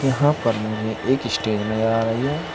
यहां पर मुझे एक स्टेज नजर आ रही है।